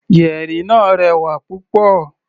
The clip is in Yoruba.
Yẹ̀rì náà rẹwà púpọ̀.